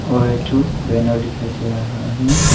और एक ठो बैनर दिखाई दे रहा है।